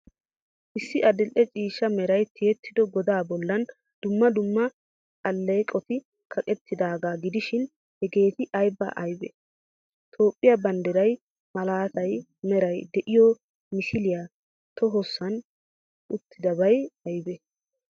Issi adil''e ciishsha meray tiyettido godaa bollan dumma dumma alleeqoti kaqqettidaaga gidishin, hegeeti aybee aybee? Toophiyaa banddiraa malatiyaa meray de'iyo misiliyaa tohossan uttidabay aybee?